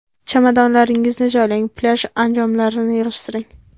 Chamadonlaringizni joylang, plyaj anjomlarini yig‘ishtiring.